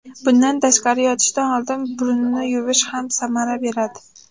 Bundan tashqari, yotishdan oldin burunni yuvish ham samara beradi.